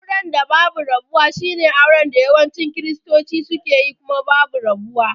Auren da babu rabuwa shine auren da yawancin kiristoti sukeyi kuma babu rabuwa.